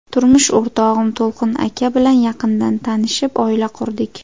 Turmush o‘rtog‘im To‘lqin aka bilan yaqindan tanishib, oila qurdik.